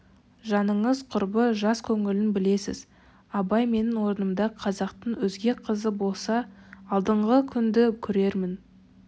жаныңыз құрбы жас көңілін білесіз абай менің орнымда қазақтың өзге қызы болса алдыңғы күнді көрермін